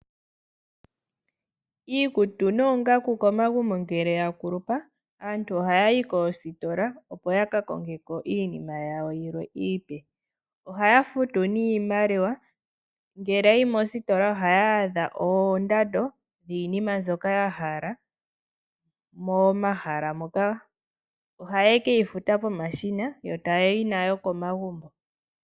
Iikutu noongaku komagumbo ngele ya kulupa aantu oha yayi koositola opo ya ka kongeko iinima yawo yilwe iipe. Ohaya futu niimaliwa, ngele yayi mositola ohaya adha oondando dhiinima mbyoka ya hala moma hala moka. Oha ye keyi futa pomashina yo ta yayi nayo komagumbo.